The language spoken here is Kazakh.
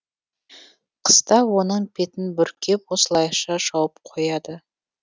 қыста оның бетін бүркеп осылайша жауып қояды